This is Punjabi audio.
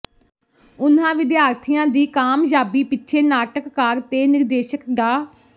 ਉਨ੍ਹਾਂ ਵਿਦਿਆਰਥੀਆਂ ਦੀ ਕਾਮਯਾਬੀ ਪਿੱਛੇ ਨਾਟਕਕਾਰ ਤੇ ਨਿਰਦੇਸ਼ਕ ਡਾ